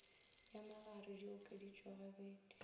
ya magare di okeditšwe gabedi